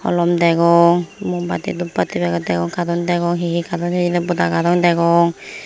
holom degong mumbatti duppadi paget degong katon degong hi hi katon hijeni boda katon degong.